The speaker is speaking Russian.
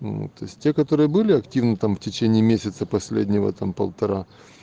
ну то есть те которые были активны там в течение месяца последнего там полтора